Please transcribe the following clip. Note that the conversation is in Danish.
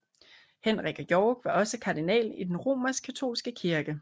Henrik af York var også kardinal i den Romerskkatolske kirke